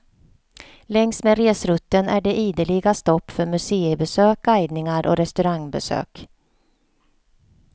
Längs med resrutten är det ideliga stopp för museibesök, guidningar och restaurangbesök.